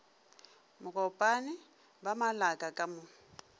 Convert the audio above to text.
mokopane ba malaka ka mo